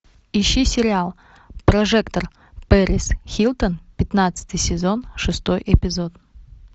ищи сериал прожекторперисхилтон пятнадцатый сезон шестой эпизод